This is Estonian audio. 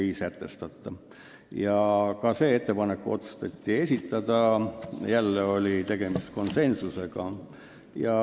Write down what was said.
Nii et komisjon otsustas ka selle ettepaneku esitada ja jälle oli tegemist konsensusega.